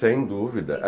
Sem dúvida.